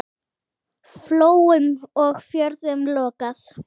Flóum og fjörðum lokað.